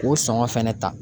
K'o sɔngɔ fɛnɛ ta.